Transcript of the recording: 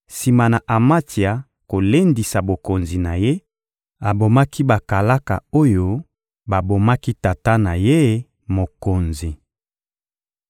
Sima na Amatsia kolendisa bokonzi na ye, abomaki bakalaka oyo babomaki tata na ye, mokonzi.